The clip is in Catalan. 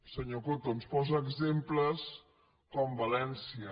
senyor coto ens posa exemples com valència